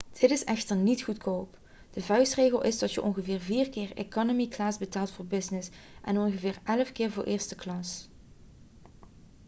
dit is echter niet goedkoop de vuistregel is dat je ongeveer vier keer economy class betaalt voor business en ongeveer elf keer voor de eerste klasse